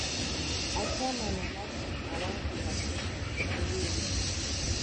i tell my mama say i wan go vacation the way you dey go